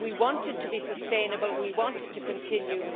We want it to be sustainable, we wanted it to continue.